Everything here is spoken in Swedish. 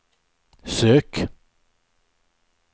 sök